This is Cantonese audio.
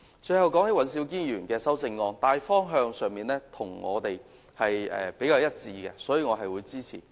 最後，談到尹兆堅議員的修正案，因為在大方向上跟我們比較一致，所以我會支持。